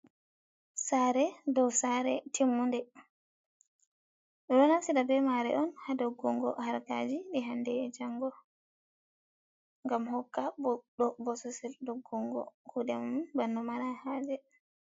Sare dow sare timmude, ɓeɗo naftira be mare on ha doggugo harkaji ɗi hande e jango, gam hokka bodɗo sosel doggungo kuɗe mom bana mara haje.